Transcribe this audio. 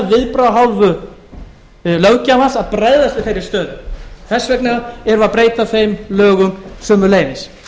viðbragða af hálfu löggjafans að bregðast við þeirri stöðu þess vegna erum við að breyta þeim lögum sömuleiðis